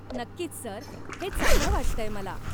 नक्कीच सर, हे चांगलं वाटतंय मला.